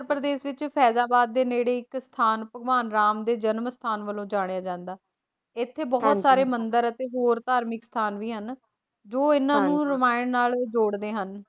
ਉੱਤਰ ਪ੍ਰਦੇਸ਼ ਦੇ ਵਿੱਚ ਫੈਜ਼ਾਬਾਦ ਦੇ ਨੇੜੇ ਇੱਕ ਸਥਾਨ ਭਗਵਾਨ ਰਾਮ ਦੇ ਜਨਮ ਸਥਾਨ ਵਜੋਂ ਜਾਣਿਆ ਜਾਂਦਾ ਹੈ, ਇੱਥੇ ਬਹੁਤ ਸਾਰੇ ਮੰਦਿਰ ਅਤੇ ਹੋਰ ਧਾਰਮਿਕ ਸਥਾਨ ਵੀ ਹਨ, ਜੋ ਇਨ੍ਹਾਂ ਨੂੰ ਰਮਾਇਣ ਨਾਲ ਜੋੜਦੇ ਹਨ।